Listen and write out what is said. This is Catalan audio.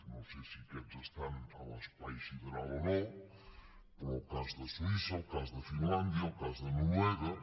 no sé si aquests estan a l’espai sideral o no però el cas de suïssa el cas de finlàndia el cas de noruega